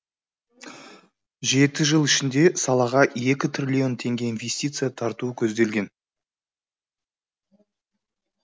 жеті жыл ішінде салаға екі трлн теңге инвестиция тарту көзделген